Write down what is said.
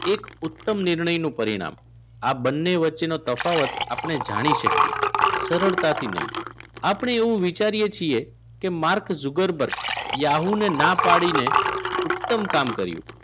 એક ઉત્તમ નિર્ણયનું પરિણામ આ બંને વચ્ચેનો તફાવત આપણે જાણી શકીએ સરળતાથી નહીં આપણે એવું વિચારીએ છીએ કે માર્ક જુકર્બુર્ગ Yahoo ને ના પાડી ને ઉત્તમ કામ કર્યું